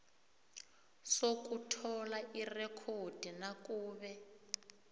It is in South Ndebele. sokuthola irekhodi nakube